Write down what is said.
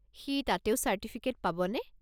সি তাতেও চার্টিফিকেট পাবনে?